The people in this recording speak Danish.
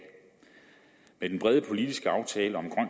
med den brede politiske aftale om